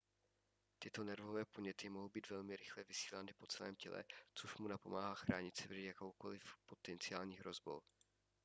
tyto nervové podněty mohou být velmi rychle vysílány po celém těle což mu napomáhá chránit se před jakoukoli potenciální hrozbou